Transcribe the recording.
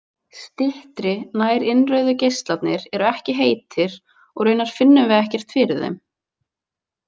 Styttri, nærinnrauðu geislarnir eru ekki heitir og raunar finnum við ekkert fyrir þeim.